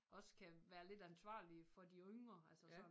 Også kan være lidt ansvarlige for de yngre altså sådan